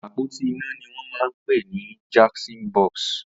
Apótí iná ni wọn mà n pé ni jọnkṣọn bọsí